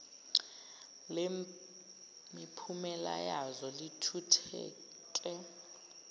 lemiphumela yazo lithuthuke